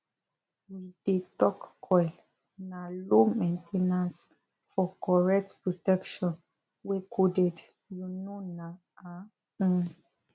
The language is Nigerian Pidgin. we dey talk coil na low main ten ance for correct protection wey coded u know na um um